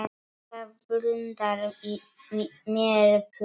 Það blundar í mér púki.